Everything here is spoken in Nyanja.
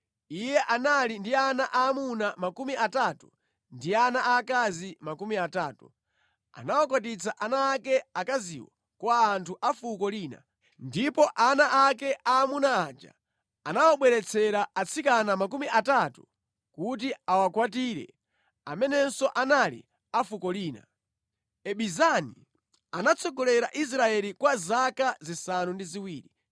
Iye anali ndi ana aamuna makumi atatu ndi ana aakazi makumi atatu. Anakwatitsa ana ake akaziwo kwa anthu a fuko lina, ndipo ana ake aamuna aja anawabweretsera atsikana makumi atatu kuti awakwatire amenenso anali a fuko lina. Ibizani anatsogolera Israeli kwa zaka zisanu ndi ziwiri.